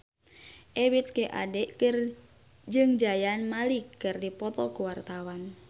Ebith G. Ade jeung Zayn Malik keur dipoto ku wartawan